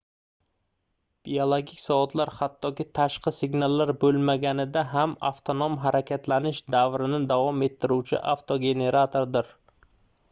biologik soatlar hattoki tashqi signallar boʻlmaganida ham avtonom harakatlanish davrini davom ettiruvchi avtogeneratordir